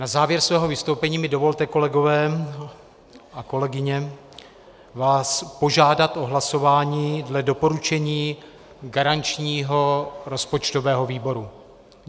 Na závěr mého vystoupení mi dovolte, kolegové a kolegyně, vás požádat o hlasování dle doporučení garančního rozpočtového výboru.